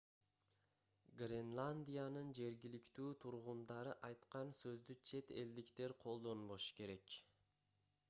гренландиянын жергиликтүү тургундары айткан сөздү чет элдиктер колдонбошу керек